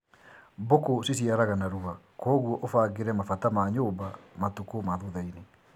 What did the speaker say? Mbũkũ ciciaraga narua koguo ũbangĩre mabata ma nyũmba matukũ ma thuthainĩ